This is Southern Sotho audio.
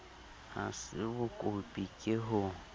ha se bokopi ke ho